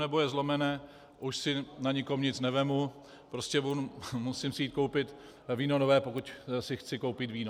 Nebo je zlomené, už si na nikom nic nevezmu, prostě musím si jít koupit víno nové, pokud si chci koupit víno.